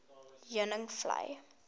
heuningvlei